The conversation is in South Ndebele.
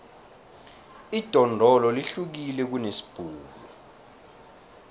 idondolo lihlukile kunesibhuku